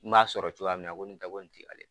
N b'a sɔrɔ cogoya min na ko ntɛ ko nin te ale